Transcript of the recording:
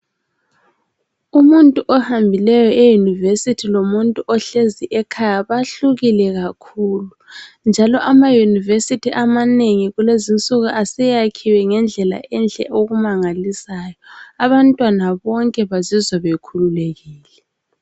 Umuntu ohambileyo eyunivesithi lomuntu ohlezi ekhaya bahlukile kakhulu ,njalo ama yunivesithi amanengi kulezi insuku aseyakhiwe ngendlela enhle okumangalisayo abantwana bonke bazizwa bekhululekile.